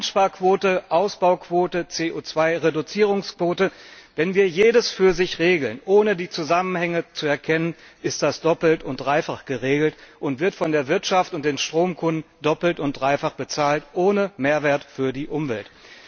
Einsparquote, Ausbauquote, CO 2 Reduzierungsquote wenn wir jedes für sich regeln, ohne die Zusammenhänge zu erkennen, ist das doppelt und dreifach geregelt und wird von der Wirtschaft und den Stromkunden doppelt und dreifach bezahlt ohne Mehrwert für die Umwelt.